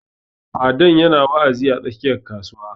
Fadan ya na wa'azi a tsakiyar kasuwa